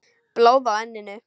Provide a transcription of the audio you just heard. Blóð á enninu.